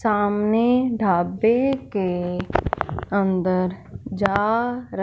सामने ढाबे के अंदर जा--